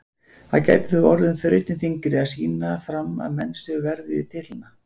Það gæti þó orðið þrautin þyngri að sýna fram að menn séu verðugir titlanna.